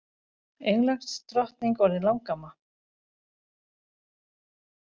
Englandsdrottning orðin langamma